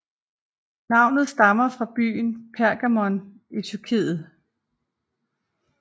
Navnet stammer fra byen Pergamon i Tyrkiet